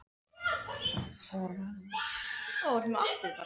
Það verður bara að koma í ljós, ha?